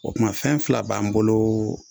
O tuma fɛn fila b'an bolo